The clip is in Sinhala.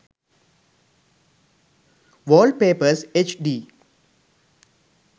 wallpapers hd